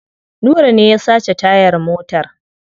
Nura ne ya sace tayar motar.